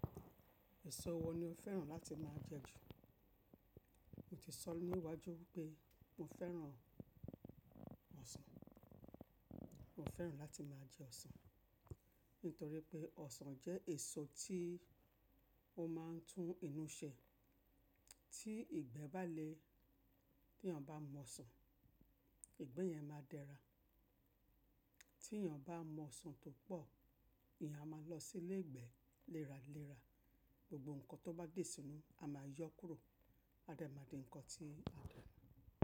Èso wo ni o fẹ́ràn láti máa jẹ ju? Mo ti sọ ní iwájú pé mo fẹ́ràn ọsàn. Mo fẹ́ràn láti máa jẹ ọsàn, nítorí pé ọsàn jẹ́ èso tí ó máa ń tún inú ṣe. Tí ìgbẹ́ bá le, tí èniyàn bá mu ọsàn, ìgbẹ́ yẹn máa dẹra. Tí èeyàn bá mu ọsàn tó pọ̀, èeyàn máa lọ sílé ìgbẹ́ léra léra. Gbogbo nǹkan tó bá dé sínú, a máa yọ kúrò. A dà máa di nǹkan tí a lò.